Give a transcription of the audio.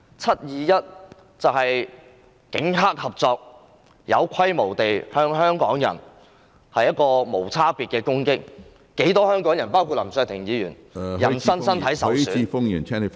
"七二一"事件是警黑合作，有規模地向香港人作無差別攻擊，不少香港人包括林卓廷議員的人身受嚴重傷害......